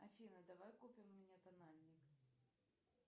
афина давай купим мне тональник